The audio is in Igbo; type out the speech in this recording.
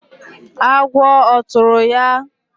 agwọ ọ tụrụ ya?